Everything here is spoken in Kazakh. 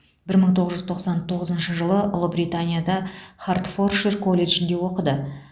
бір мың тоғыз жүз тоқсан тоғызыншы жылы ұлыбританияда хардфоршир колледжінде оқыды